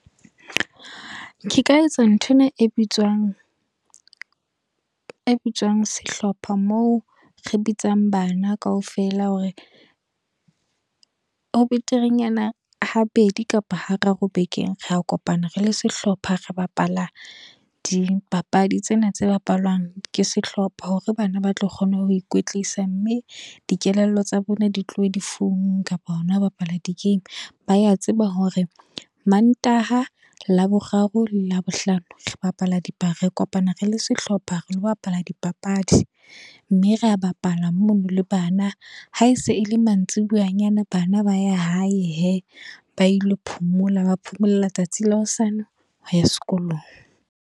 Ke ka etsa nthwena e bitswang, e bitswang sehlopha moo re bitsang bana kaofela. Hore, ho beterenyana ha bedi kapa ha raro bekeng, ra kopana re le sehlopha. Re bapalang dipapadi tsena tse bapalwang ke sehlopha. Hore bana ba tlo kgona ho ikwetlisa. Mme, dikelello tsa bona di tlohe difounung kapa hona ho bapala di-game. Ba ya tseba hore Mantaha, Laboraro, Labohlano re bapala, di re kopana re le sehlopha re lo bapala dipapadi. Mme re a bapala mono le bana. Ha ese ele mantsibuya nyana bana ba ya hae he, ba ilo phomola ba phumolela le tsatsi la hosane ho ya sekolong.